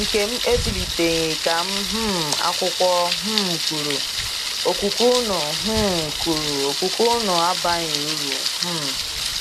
Nkem ebiliteghi-ka um akwụkwo um kwuru:okwukwe unu um kwuru:okwukwe unu abaghị uru. ” um